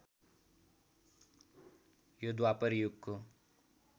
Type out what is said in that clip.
यो द्वापर युगको